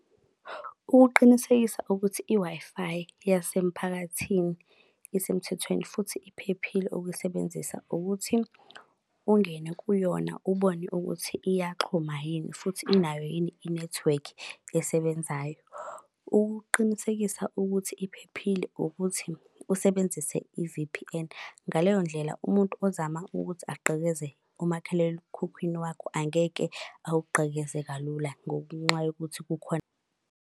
Ukuqinisekisa ukuthi i-Wi-Fi yasemphakathini isemthethweni futhi iphephile ukuyisebenzisa ukuthi, ungene kuyona ubone ukuthi iyaxhuma yini futhi inayo yini inethiwekhi esebenzayo. Ukuqinisekisa ukuthi iphephile ukuthi usebenzise i-V_P_N. Ngaleyo ndlela umuntu ozama ukuthi agqekeze umakhalekhukhwini wakho, angeke awugqekeze kalula ngokunqa yokuthi kukhona.